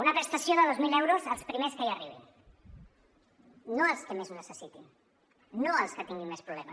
una prestació de dos mil euros als primers que hi arribin no als que més ho necessitin no als que tinguin més problemes